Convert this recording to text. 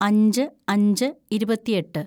അഞ്ച് അഞ്ച് ഇരുപത്തിയെട്ട്‌